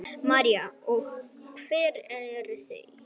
María: Og hver eru þau?